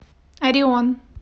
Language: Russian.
орион